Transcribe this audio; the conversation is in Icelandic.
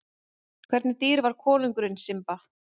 Hvernig dýr var konungurinn Simba?